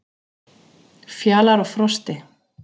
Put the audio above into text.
Fjalar og Frosti,